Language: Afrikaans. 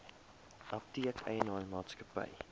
apteek eienaar maatskappy